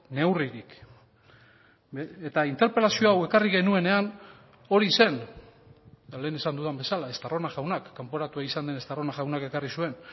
neurririk eta interpelazio hau ekarri genuenean hori zen eta lehen esan dudan bezala estarrona jaunak kanporatua izan den estarrona jaunak ekarri zuen